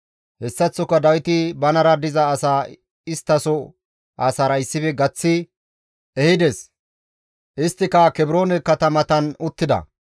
Hessaththoka Dawiti banara diza asaa isttaso asaara issife gaththi ehides. Isttika Kebroone katamatan uttida.